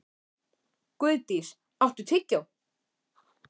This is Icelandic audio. Guðdís, áttu tyggjó?